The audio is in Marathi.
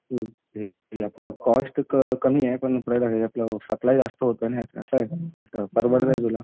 हे कॉस्ट कमी आहे पण सप्लाय जास्त होतो ना याचा. असं आहे परवडतंय तुला.